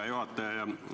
Hea juhataja!